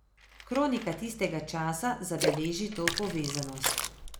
Kronika tistega časa zabeleži to povezanost.